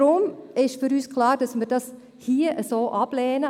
Deshalb ist für uns klar, dass wir dies hier so ablehnen.